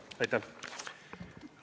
Aitäh!